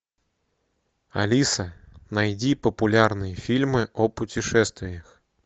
алиса найди популярные фильмы о путешествиях